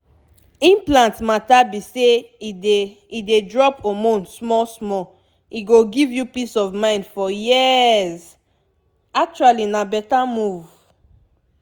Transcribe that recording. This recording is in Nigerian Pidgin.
implant matter be say e dey e dey drop hormone small-small e go give you peace of mind for years pause actually na better move!